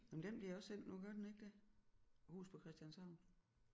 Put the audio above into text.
Jamen den bliver også sendt nu gør den ikke det huset på Christianshavn